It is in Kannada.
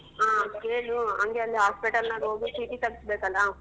ಕೇಳು ಹಂಗೆ ಅಲ್ hospital ನಾಗ್ ಹೋಗಿ ಚೀಟಿ ತೆಗ್ಸ್ಬೇಕಲ್ಲ.